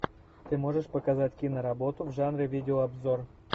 ты можешь показать киноработу в жанре видеообзор